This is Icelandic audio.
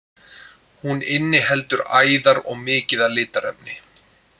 Hún inniheldur æðar og mikið af litarefni.